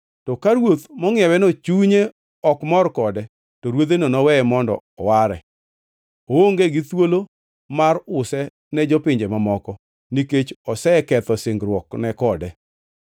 To ka ruoth mongʼieweno chunye ok mor kode; to ruodheno noweye mondo oware. Oonge gi thuolo mar use ne jopinje mamoko, nikech oseketho singruokne kode.